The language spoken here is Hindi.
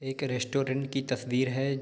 एक रेस्टुरेंट की तस्वीर हैं।